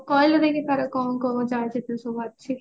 କହିଲୁ ଦେଖି ତାର କଣ କଣ ଅଛି